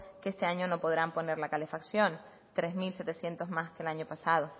que este año no podrán poner la calefacción tres mil setecientos más que el año pasado